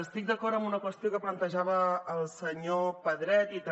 estic d’acord amb una qüestió que plantejava el senyor pedret i també